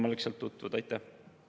Priit Sibul, palun, protseduuriline küsimus!